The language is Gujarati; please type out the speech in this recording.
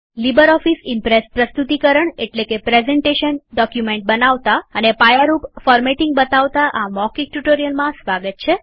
લીબરઓફીસ ઈમ્પ્રેસ પ્રસ્તુતિકરણ એટલેકે પ્રેઝન્ટેશન ડોક્યુમેન્ટ બનાવતા અને પાયારૂપ ફોર્મેટિંગ બતાવતા આ મૌખિક ટ્યુટોરીયલમાં સ્વાગત છે